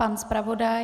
Pan zpravodaj?